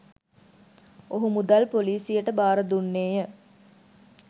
ඔහු මුදල් පොලිසියට බාර දුන්නේය.